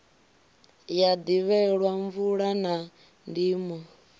ya ḓivhelwa mvula na ndimo